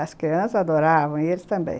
As crianças adoravam, e eles também.